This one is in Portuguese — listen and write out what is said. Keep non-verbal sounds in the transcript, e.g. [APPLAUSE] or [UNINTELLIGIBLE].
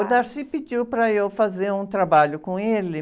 O [UNINTELLIGIBLE] pediu para eu fazer um trabalho com ele.